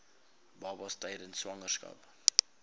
babas tydens swangerskap